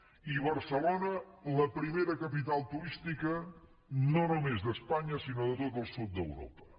i barcelona la primera capital turística no només d’espanya sinó de tot el sud d’europa